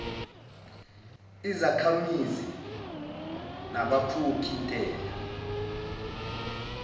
izakhamizi nabakhokhi ntela